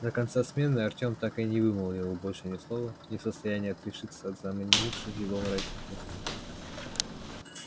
до конца смены артём так и не вымолвил больше ни слова не в состоянии отрешиться от заманивших его мрачных мыслей